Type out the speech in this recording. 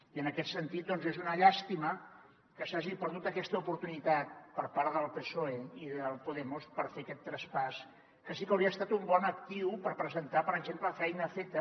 i en aquest sentit és una llàstima que s’hagi perdut aquesta oportunitat per part del psoe i de podemos per fer aquest traspàs que sí que hauria estat un bon actiu per presentar per exemple feina feta